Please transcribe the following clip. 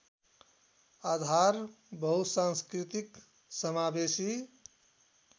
आधार बहुसाँस्कृतिक समावेशी